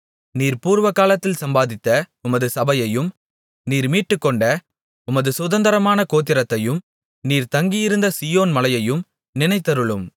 நீர் பூர்வகாலத்தில் சம்பாதித்த உமது சபையையும் நீர் மீட்டுக்கொண்ட உமது சுதந்தரமான கோத்திரத்தையும் நீர் தங்கியிருந்த சீயோன் மலையையும் நினைத்தருளும்